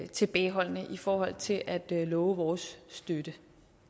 tilbageholdende i forhold til at love vores støtte